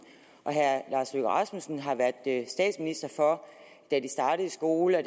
og herre lars løkke rasmussen har været statsminister for da de startede i skole og